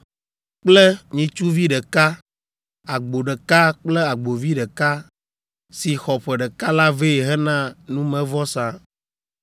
kple nyitsuvi ɖeka, agbo ɖeka kple agbovi ɖeka, si xɔ ƒe ɖeka la vɛ hena numevɔsa,